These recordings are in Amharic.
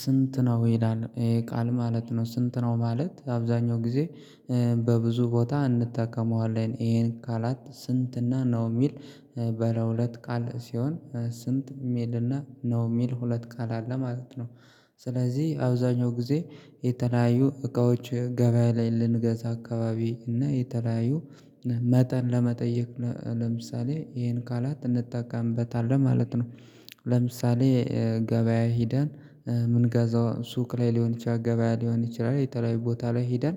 ስንት ነው ይሄዳል ይሄ ቃል ማለት ነው? ስንት ነው ማለት አብዛኛው ጊዜ በብዙ ቦታ እንጠቀመዋለን ይሄን ቃላት ስንት እና ነው የሚል በለ ሁለት ቃል ሲሆን ስንት ሚል እና ነው ሚል ሁለት ቃል አለ ማለት ነው። ስ ስለዚህ አብዛኛውን ጊዜ የተለያዩ እቃዎች ገበያ ላይ ልንገዛ አካባቢ እና የተለያዩ መጠን ለመጠየቅ ለምሳሌ ይሄን ቃላት እንጠቃምበታለን ማለት ነው። ለምሳሌ ገበያ ሂደን የምንጋዛው ሱቅ ላይ ሊሆን ይችላል ገበያ ሊሆን ይችላል የተለያዩ ቦታ ላይ ሄደን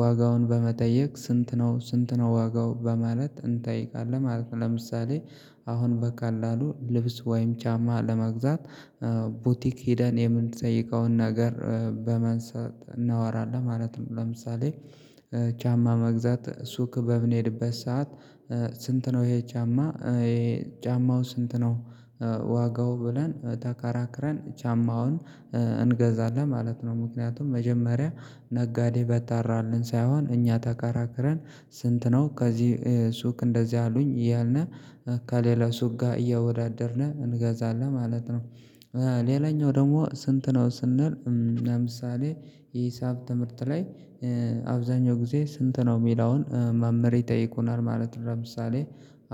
ዋጋውን በመጠየቅ ስንት ነው ስንት ነው ዋጋው በማለት እንጠይቃለን ማለት ነው። ለምሳሌ አ አሁን በቀላሉ ልብስ ወይም ጫማ ለመግዛት ቡቲክ ሄደን የምንጠይቀውን ነገር በማንሳት እናወራለን ማለት ነው። ለምሳሌ ጫማ ለመግዛት ሱቅ በምንሄድበት ሰዓት ስንት ነው ይሄ ጫማ ጫማው ስንት ነው ዋጋው ብለን ተከራክረን ጫማውን እንገዛለን ማለት ነው። ምክንያቱም መጀመሪያ ነጋዴ በጠራልን ሳይሆን እኛ ተከራክረን ስንት ነው ከዚህ ሱቅ እንደዚህ አሉኝ እያልን ከሌላ ሱቅ ጋር እያወዳደርን እንገዛለን ማለት ነው። ሌላኛው ደግሞ ስንት ነው ስንል ለምሳሌ የሂሳብ ትምህርት ላይ አብዛኛው ጊዜ ስንት ነው የምላውን መምህር ይጠይቁናል ማለት ነው ለምሳሌ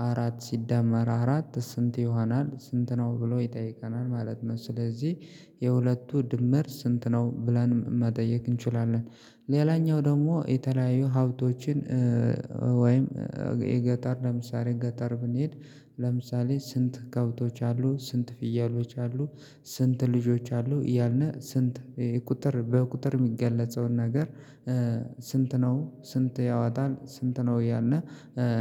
አራት ሲዳመር አራት ስንት ይሆናል ስንት ነው ብሎ ይጠይቀናል ማለት ነው። ስለዚህ የሁለቱ ድምር ስንት ነው ብላን መጠየቅ እንችላለን። ሌላኛው ደግሞ የተለያዩ ሀብቶችን ወይም የገጠር ለምሳሌ ገጠር ብንሄድ ለምሳሌ ስንት ከብቶች አሉ ስንት ፍየሎች አሉ ስንት ልጆች አሉ አያልን ስንት ቁጥር በቁጥር የሚገለጸውን ነገር ስንት ነው ስንት ያወጣል ስንት ነው እያልን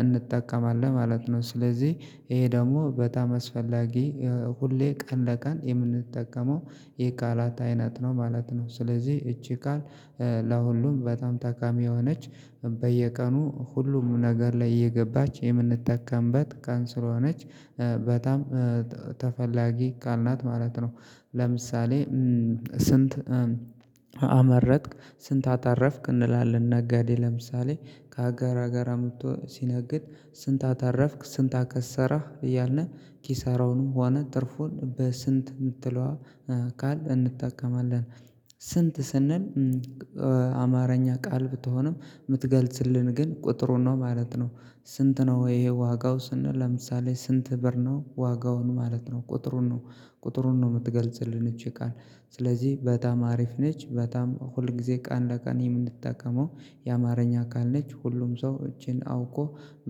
እንጠቀማለን ማለት ነው። ስለዚህ ይሄ ደግሞ በጣም አስፈላጊ የ ሁሌ ቀን ለቀን የምንጠቀመው የቃላት አይነት ነው ማለት ነው ስለዚህ ይቺ ቃል ለሁሉም በጣም ጠቃሚ የሆነች በየቀኑ ሁሉም ነገር ላይ እየገባች የምንጠቀምባት ቃል ስለሆነች በጣም ተፈላጊ ቃል ናት ማለት ነው። ለምሳሌ ስንት አመረትክ ስንት አተረፍክ እንላለን ነጋዴ ለምሳሌ ከሀገር ሀገር አምጥቶ ሲነግድ ስንት አተረፍክ ስንት አከሰረህ እያልን ኪሳራውንም ሆነ ትርፉን በስንት የምትለዋ ቃል እንጠቀማለን ስንት ስንል አማርኛ ቃል ብትሆንም የምትገልጽልን ግን ቁጥሩን ነው ማለት ነው። ስንት ነው ይሄ ዋጋው ስንል ለምሳሌ ስንት ብር ነው ዋጋውን ማለት ነው ቁጥሩን ነው ቁጥሩን ነው የምትገልጽልን ይቺ ቃል ስለዚህ በጣም አሪፍ ነች በጣም ሁል ጊዜ ቀን ለቀን የምንጠቀመው የአማርኛ ቃል ነች ሁሉም ሰው ይቺን አውቆ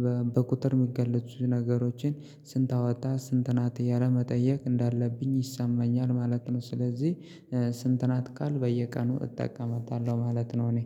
በ በቁጥር የሚገለጹትን ነገሮችን ስንት አወጣ ስንት ናት እያልን መጠየቅ እንዳለብኝ ይሰማኛል ማለት ነው ስለዚህ ስንት ናት ቃልን በየቀኑ እጠቀማታለሁ ማለት ነው። እኔ